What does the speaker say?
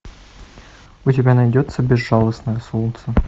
у тебя найдется безжалостное солнце